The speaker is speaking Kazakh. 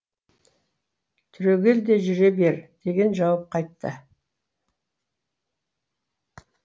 түрегел де жүре бер деген жауап қайтты